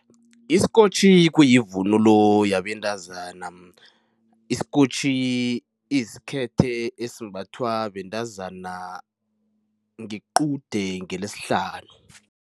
Isikotjhi kuyivunulo yabentazana. Isikotjhi isikhethe esimbathwa bentazana ngequde ngeLesihlanu.